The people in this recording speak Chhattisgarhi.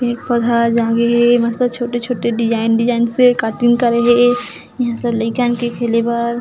पेड़-पौधा जागे हे मस्त छोटे-छोटे डिज़ाइन डिज़ाइन से कटिंग करे हे इहाँ सब लईकन के खेले बर--